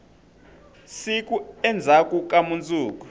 siku endzhaku ka mundzuku